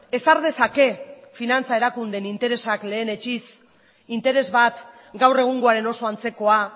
ezar dezake finantza erakunde interesak lehenetsiz interes bat gaur egungoaren oso antzekoa